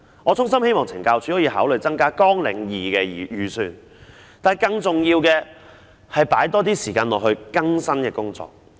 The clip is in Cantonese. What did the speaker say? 我衷心希望懲教署可以考慮增加綱領2的預算，但更重要的是須多花時間在協助在囚人士更生的工作上。